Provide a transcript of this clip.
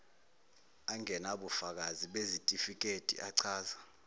angenabufakazi bezitifiketi achaza